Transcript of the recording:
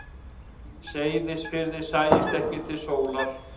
Seyðisfirði sæist ekki til sólar.